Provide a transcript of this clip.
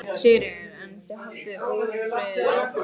Sigríður: En þið haldið ótrauðir áfram?